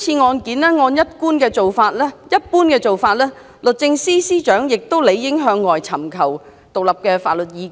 按照慣常做法，律政司司長亦理應就今次的案件尋求外間的獨立法律意見。